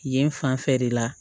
Yen fanfɛ de la